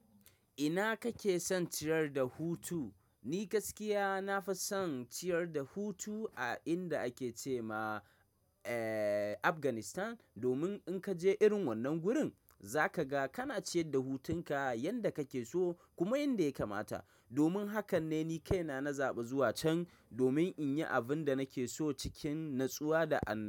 Ina kake son ciyar da hutu? Ni gaskiya nafi son ciyar da hutu a inda ake ce ma, eh, Afghanistan. Domin in kaje irin wannan gurin, za ka ga kana ciyar da hutun ka yanda kake so kuma yanda ya kamata. Domin hakan ne ni kaina na zaɓi zuwa can domin in yi abin da nake so cikin natsuwa da an-